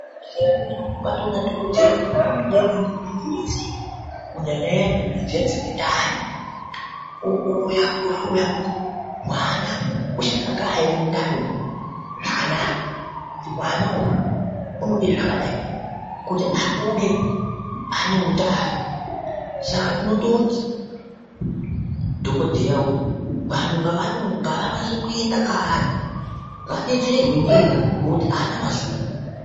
Kuzvibhedhlera kwedu kwatona dhokoteya unotode midhumbi dose kunyanyanya midhumbi dziya dzine ndaani owuya ohloya kuti mwana uchakagara here mundani umu zvakanaka kuti mwana uu unode zvakadayi kuti abonge ane utano saka tinototi dhokodheya uyu vanhu ngava nyatso kuenda kaari vabetserwe ndiye ngokuti ahaana mazuva.